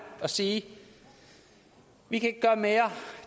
og sige vi kan